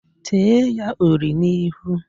Tee ya uri n'ihu!